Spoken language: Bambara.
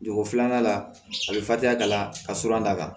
Dugu filanan la a bɛ fatumaya ka la ka suran d'a kan